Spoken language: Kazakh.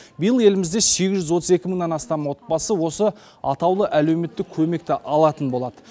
биыл елімізде сегіз жүз отыз екі мыңнан астам отбасы осы атаулы әлеуметтік көмекті алатын болады